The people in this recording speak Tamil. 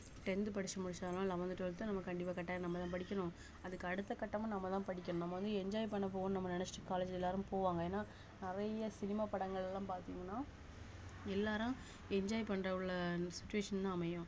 tenth படிச்சு முடிச்சாலும் eleventh twelfth நம்ம கண்டிப்பா கட்டாயம் நம்மதான் படிக்கணும் அதுக்கு அடுத்த கட்டமா நம்மதான் படிக்கணும் நம்ம வந்து enjoy பண்ண போவோம்ன்னு நம்ம நினைச்சிட்டு college ல எல்லாரும் போவாங்க ஏன்னா நிறைய சினிமா படங்கள் எல்லாம் பாத்தீங்கன்னா எல்லாரும் enjoy பண்ற உள்ள situation தான் அமையும்